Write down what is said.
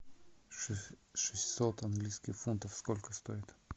шестьсот английских фунтов сколько стоит